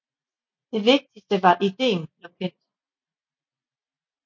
Det vigtige var at ideen blev kendt